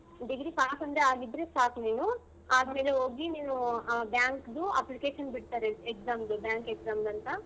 Degree pass ಒಂದು ಆಗಿದ್ರೆ ಸಾಕ್ ನೀನು ಆದ್ಮೇಲೆ ಹೋಗಿ ನೀನು bank ದು application ಬಿಡ್ತಾರೆ exam ದು bank exam ದು ಅಂತ.